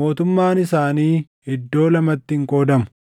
mootummaan isaanii iddoo lamatti hin qoodamu.